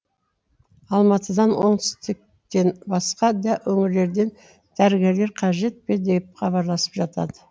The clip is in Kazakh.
алматыдан оңтүстіктен басқа да өңірлерден дәрігерлер қажет пе деп хабарласып жатады